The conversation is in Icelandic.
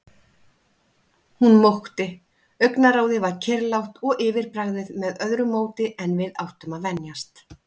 Hún mókti, augnaráðið var kyrrlátt og yfirbragðið með öðru móti en við áttum að venjast.